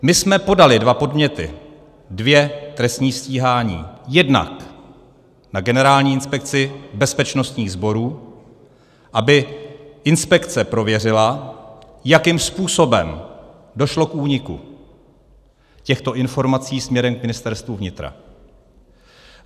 My jsme podali dva podněty, dvě trestní stíhání jednak na Generální inspekci bezpečnostních sborů, aby inspekce prověřila, jakým způsobem došlo k úniku těchto informací směrem k Ministerstvu vnitra.